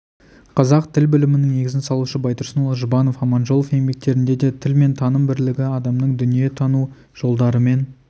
қазақ тіл білімінің негізін салушы байтұрсынұлы жұбанов аманжолов еңбектерінде де тіл мен таным бірлігі адамның дүниені тану жолдарымен